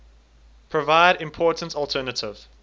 provide important alternative